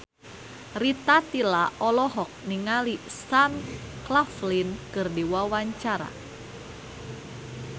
Rita Tila olohok ningali Sam Claflin keur diwawancara